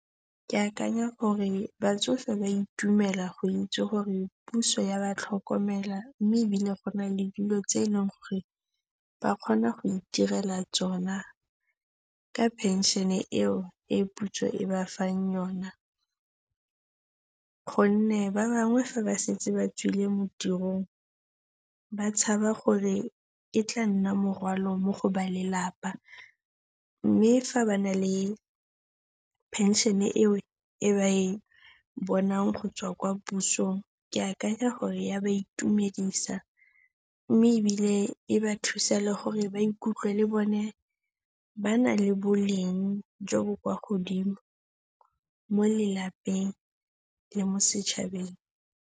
Ke akanya gore batsofe ba itumela go itse gore puso e a ba tlhokomela mme ebile go na le dilo tse e leng gore ba kgona go itirela tsona ka pension-e eo e puso e ba fang yona gonne ba bangwe fa ba setse ba tswile mo tirong, ba tshaba gore e tla nna morwalo mo go ba lelapa mme fa ba na le pension-e eo e ba e bonang go tswa kwa pusong, ke akanya gore e a ba itumedisa mme ebile e ba thusa le gore ba ikutlwe le bone ba na le boleng jo bo kwa godimo mo lelapeng le mo setšhabeng.